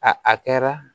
A a kɛra